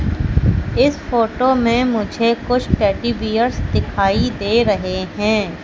इस फोटो में मुझे कुछ टेडी बियर्स दिखाई दे रहे हैं।